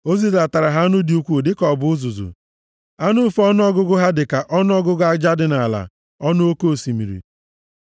O zidatara ha anụ dị ukwuu dịka ọ bụ uzuzu, anụ ufe ọnụọgụgụ ha dịka ọnụọgụgụ aja dị nʼala ọnụ oke osimiri.